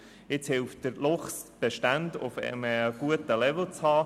Heute hilft der Luchs, die Bestände auf einem guten Niveau zu halten.